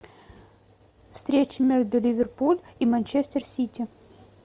встреча между ливерпуль и манчестер сити